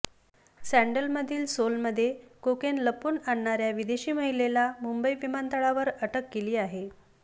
सँडलमधील सोलमध्ये कोकेन लपवून आणणाऱ्या विदेशी महिलेला मुंबई विमानतळातवर अटक केली आहे